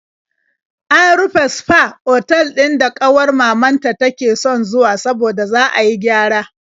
An rufe sfa otal ɗin da ƙawar mamanta take son zuwa saboda za a yi gyara.